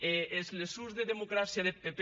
e es leçons de democràcia deth pp